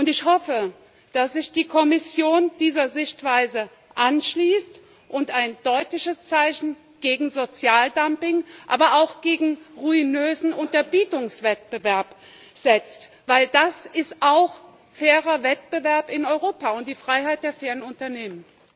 Ich hoffe, dass sich die Kommission dieser Sichtweise anschließt und ein deutliches Zeichen gegen Sozialdumping, aber auch gegen ruinösen Unterbietungswettbewerb setzt, denn das ist auch fairer Wettbewerb in Europa und die Freiheit der fairen Unternehmen.